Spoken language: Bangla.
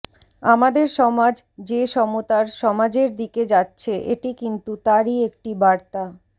আমাদের সমাজ যে সমতার সমাজের দিকে যাচ্ছে এটি কিন্তু তারই একটি বার্তা